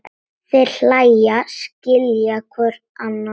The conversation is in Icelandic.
Þeir hlæja, skilja hvor annan.